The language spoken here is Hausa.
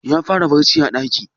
Ya fara barc a ɗaki?